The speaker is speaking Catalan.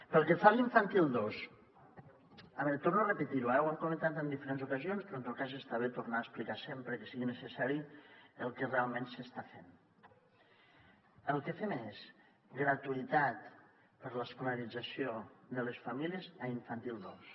pel que fa a l’infantil dos a veure ho torno a repetir ho hem comentat en diferents ocasions però en tot cas està bé tornar a explicar sempre que sigui necessari el que realment s’està fent el que fem és gratuïtat per a l’escolarització de les famílies a infantil dos